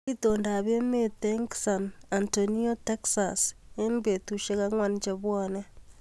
Itondoab emet eng San Antonio Texas eng betushek ankwan chebone